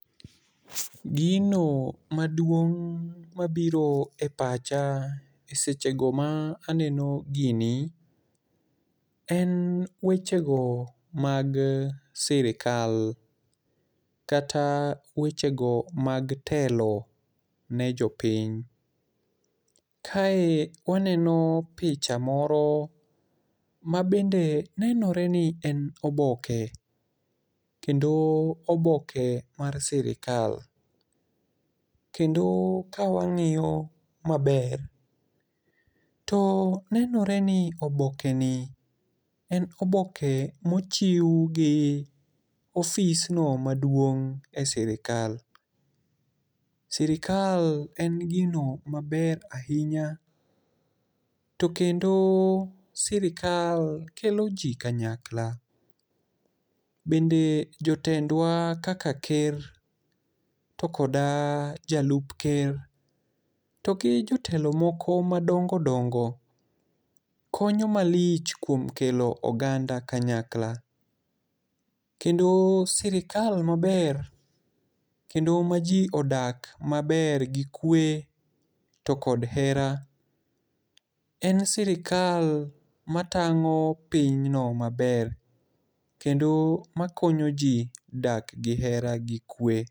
Gino maduong' mabiro e pacha e sechego ma aneno gini, en wechego mag sirkal. Kata wechego mag telo ne jopiny. Kae waneno picha moro ma bende nenore ni en oboke, kendo oboke mar sirkal. Kendo ka wang'iyo maber, to nenore ni oboke ni en oboke mochiw gi office no maduong' e sirkal. Sirkal en gino maber ahinya, to kendo sirkal kelo ji kanyakla. Bende jotendwa kaka ker to koda jalup ker, to gi jotelo moko madongo dongo konyo malich kuom kelo oganda kanyakla. Kendo sirkal maber, kendo ma ji odak maber gi kwe to kod hera, en sirkal matang'o pinyno maber, kendo makonyo ji dak gi hera gi kwe.